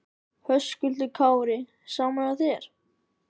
Höskuldur Kári: Sama hjá þér?